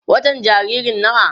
watan jaririn nawa?